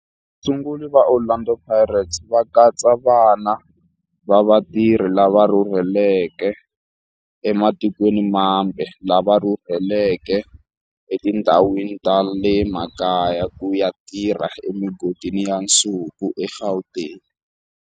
Vasunguri va Orlando Pirates va katsa vana va vatirhi lava rhurhelaka ematikweni mambe lava rhurheleke etindhawini ta le makaya ku ya tirha emigodini ya nsuku eGauteng.